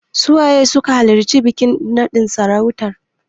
Su waye suka halarci bikin naɗin sarautan?